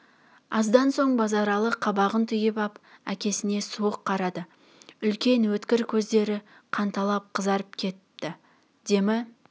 аздан соң базаралы қабағын түйіп ап әкесіне суық қарады үлкен өткір көздері қанталап қызарып кетіпті демі